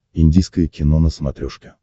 индийское кино на смотрешке